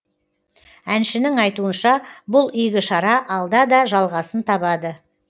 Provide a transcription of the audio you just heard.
әншінің айтуынша бұл игі шара алда да жалғасын табады